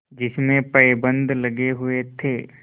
जिसमें पैबंद लगे हुए थे